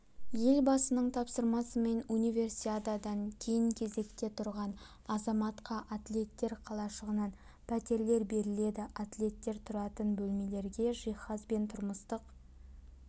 елбасының тапсырмасымен универсиададан кейінкезекте тұрған азаматқа атлеттер қалашығынан пәтерлер беріледі атлеттер тұратын бөлмелерге жиһаз бен тұрмыстық